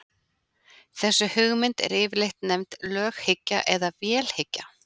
Þessi hugmynd er yfirleitt nefnd löghyggja eða vélhyggja.